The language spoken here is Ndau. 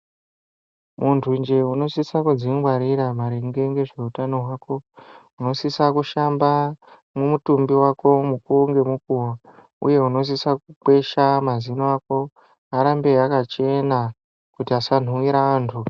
Muntunje unosisa kudzingwarira maringe nezveutano hwako. Unosisa kushanba mutumbi wako mukuwo ngemukuwo uye unosisa kukwesha mazino ako arambe akachena kuti asanhuriwa antu.